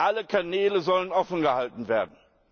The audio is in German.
Alle Kanäle sollen offen gehalten werden.